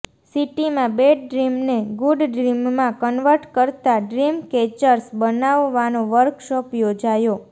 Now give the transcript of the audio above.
સિટીમાં બેડ ડ્રીમને ગુડ ડ્રીમમાં કન્વર્ટ કરતાં ડ્રીમકેચર્સ બનાવવાનો વર્કશોપ યોજાયો